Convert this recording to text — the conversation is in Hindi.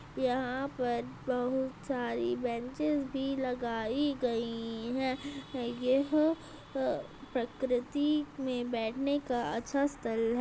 यहाँ पर बहुत सारी बेंचेस भी लगाई गयी है। यह प्रकृति में बैठने का अच्छा स्थल है।